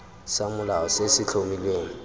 sa molao se se tlhomilweng